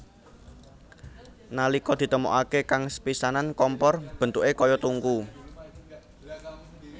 Nalika ditemokaké kang sepisanan kompor bentuké kaya tungku